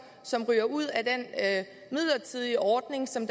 som ryger ud af den midlertidige ordning som